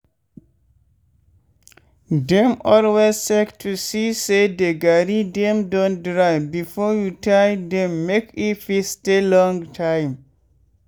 dey always check to see say de garri dem don dry before you tie dem make e fit stay long time.